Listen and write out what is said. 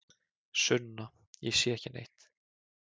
Sunna: Ég sé ekki neitt.